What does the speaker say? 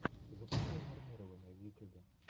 запускай нормирование в ютюбе